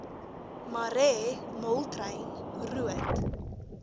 marais moltrein roodt